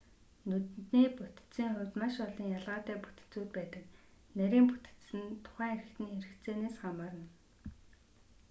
нүдний бүтэцийн хувьд маш олон ялгаатай бүтэцүүд байдаг нарийн бүтэц нь тухайн эрхтэний хэрэгцээнээс хамаарна